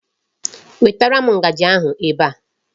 Wetara m ngaji ahụ ebe a.